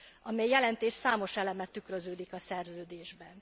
amely jelentés számos eleme tükröződik a szerződésben.